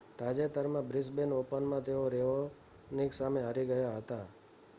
તાજેતરમાં બ્રિસ્બેન ઓપનમાં તેઓ રેઓનિક સામે હારી ગયા હતા